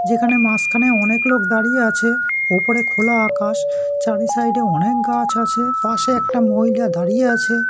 যেখানে মাঝখানে অনেক লোক দাঁড়িয়ে আছে ওপরে খোলা আকাশ চারি সাইড এ অনেক গাছ আছে পাশে একটা মহিলা দাঁড়িয়ে আছে।